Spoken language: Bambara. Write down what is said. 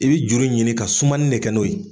I bɛ juru ɲini ka sumanin de kɛ n'o ye.